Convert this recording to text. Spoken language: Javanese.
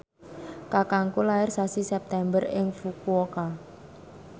kakangku lair sasi September ing Fukuoka